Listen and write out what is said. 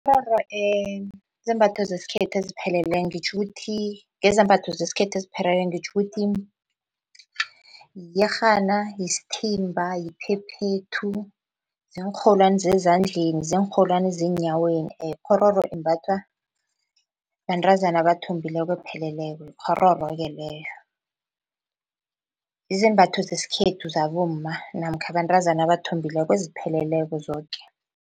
Ikghororo zizembatho zesikhethu ezipheleleko ngitjho ukuthi, ngezambatho zesikhethu ezipheleleko ngitjho ukuthi, yiyerhana, yisithimba, yiphephethu, ziinrholwani zezandleni, ziinrholwani zeenyaweni ikghororo imbathwa bantazana abathombileko epheleleko yikghororo-ke leyo. Yizembatho zesikhethu zabomma namkha abantazana abathombileko ezipheleleko zoke.